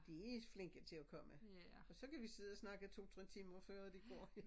De er flinke til at komme og så kan vi sidde og snakke 2 3 timer før de går